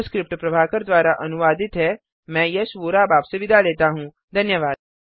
यह स्क्रिप्ट प्रभाकर द्वारा अनुवादित है मैं यश वोरा अब आपसे विदा लेता हूँ